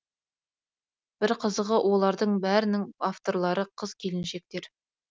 бір қызығы олардың бәрінің авторлары қыз келіншектер